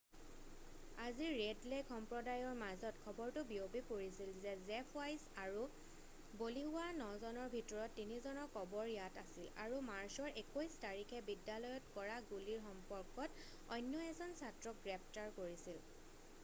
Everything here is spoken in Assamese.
আজি ৰেড লেক সম্প্ৰদায়ৰ মাজত খবৰটো বিয়পি পৰিছিল যে জেফ ৱাইছ আৰু বলি হোৱা নজনৰ ভিতৰত 3জনৰ কবৰ ইয়াত আছিল আৰু মাৰ্চৰ 21 তাৰিখে বিদ্যালয়ত কৰা গুলিৰ সম্পৰ্কত অন্য এজন ছাত্ৰক গ্ৰেপ্তাৰ কৰিছিল